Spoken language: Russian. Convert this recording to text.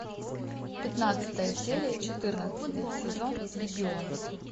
пятнадцатая серия четырнадцатый сезон легион